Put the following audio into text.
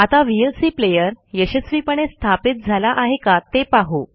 आता VLC player यशस्वीपणे स्थापित झाला आहे का ते पाहू